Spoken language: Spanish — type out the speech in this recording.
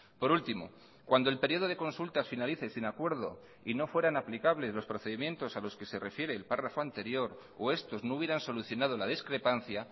por último cuando el periodo de consultas finalice sin acuerdo y no fueran aplicables los procedimientos a los que se refiere el párrafo anterior o estos no hubieran solucionado la discrepancia